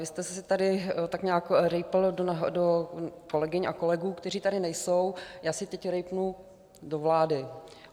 Vy jste si tady tak nějak rýpl do kolegyň a kolegů, kteří tady nejsou, já si teď rýpnu do vlády.